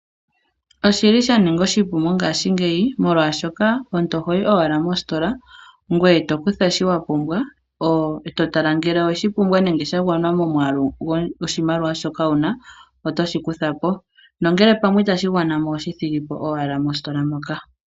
Oshili sha ninga oshipu mongashingeyi molwaashoka omuntu ohoyi owala mostola ngoye tokutha shoka wapumbwa. Eto tala ngele owedhipumbwa nenge sha gwana momwaalu goshomaliwa shoka wuna eto shi kutha po nongele pamwe itashi gwana mo oho shi thigopo owala mostola moka.